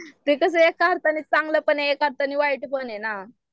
ते कसं आहे एका अर्थाने चांगलं पण आहे एका अर्थाने वाईट पण ए ना